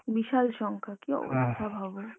বিশাল সংখ্যা, কী অবস্থা ভাবো।